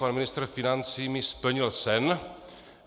Pan ministr financí mi splnil sen.